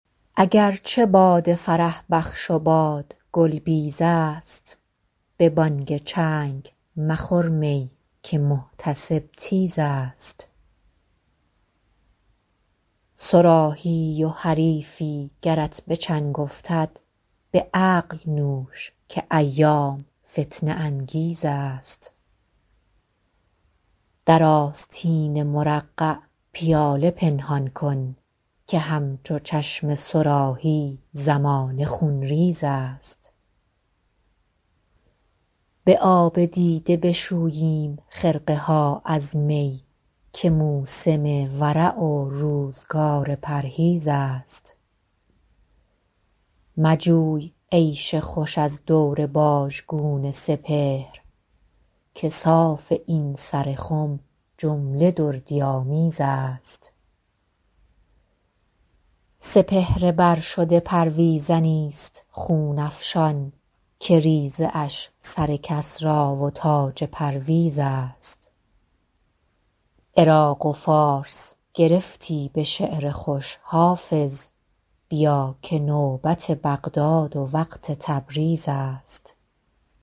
اگر چه باده فرح بخش و باد گل بیز است به بانگ چنگ مخور می که محتسب تیز است صراحی ای و حریفی گرت به چنگ افتد به عقل نوش که ایام فتنه انگیز است در آستین مرقع پیاله پنهان کن که همچو چشم صراحی زمانه خونریز است به آب دیده بشوییم خرقه ها از می که موسم ورع و روزگار پرهیز است مجوی عیش خوش از دور باژگون سپهر که صاف این سر خم جمله دردی آمیز است سپهر بر شده پرویزنی ست خون افشان که ریزه اش سر کسری و تاج پرویز است عراق و فارس گرفتی به شعر خوش حافظ بیا که نوبت بغداد و وقت تبریز است